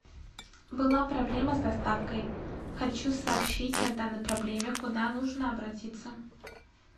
была проблема с доставкой хочу сообщить о данной проблеме куда нужно обратиться